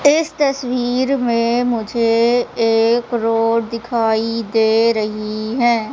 इस तस्वीर में मुझे एक रोड दिखाई दे रही है।